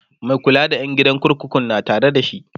Mai kula da ƴan kurkukun na Tare da shi